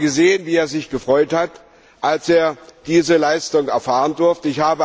Ich habe gesehen, wie er sich gefreut hat, als er diese Leistung erfahren durfte.